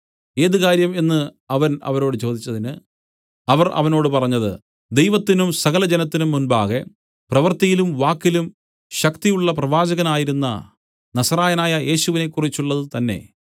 ഏത് കാര്യം എന്നു അവൻ അവരോട് ചോദിച്ചതിന് അവർ അവനോട് പറഞ്ഞത് ദൈവത്തിനും സകലജനത്തിനും മുമ്പാകെ പ്രവൃത്തിയിലും വാക്കിലും ശക്തിയുള്ള പ്രവാചകനായിരുന്ന നസറായനായ യേശുവിനെക്കുറിച്ചുള്ളതു തന്നേ